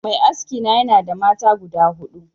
Mai aski na yanada mata guda hudu